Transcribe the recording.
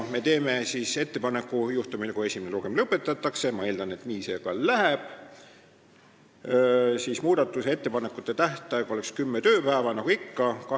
Me teeme ka ettepaneku, et juhtumil kui esimene lugemine lõpetatakse – ma eeldan, et nii see ka läheb –, võiks muudatusettepanekute tähtaeg olla kümme tööpäeva nagu ikka.